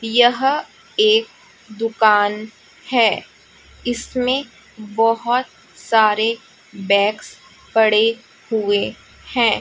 यह एक दुकान है इसमें बहुत सारे बैग्स पड़े हुए हैं।